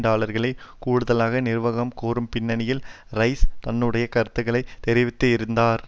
டாலர்களை கூடுதலாக நிர்வாகம் கோரும் பின்னணியில் ரைஸ் தன்னுடைய கருத்துக்களை தெரிவித்திருந்தார்